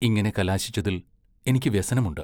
ഇങ്ങനെ കലാശിച്ചതിൽ എനിക്കു വ്യസനമുണ്ട്.